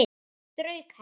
Strauk henni.